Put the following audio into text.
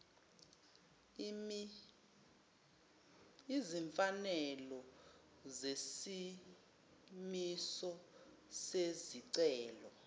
izimfanelo zesimiso zesicelo